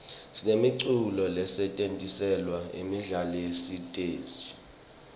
sinemiculo lesetjentiselwa imidlalo yesiteji